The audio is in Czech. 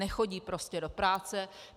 Nechodí prostě do práce.